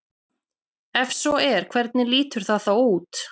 Ef svo er hvernig lítur það þá út?